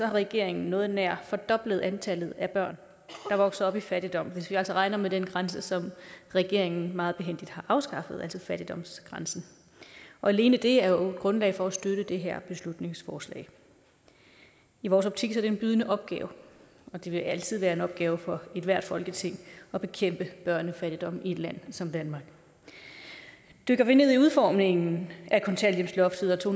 regeringen noget nær fordoblet antallet af børn der vokser op i fattigdom hvis vi altså regner med den grænse som regeringen meget behændigt har afskaffet altså fattigdomsgrænsen alene det er jo grundlag for at støtte det her beslutningsforslag i vores optik er det en bydende nødvendig opgave og det vil altid være en opgave for ethvert folketing at bekæmpe børnefattigdom i et land som danmark dykker vi ned i udformningen af kontanthjælpsloftet og to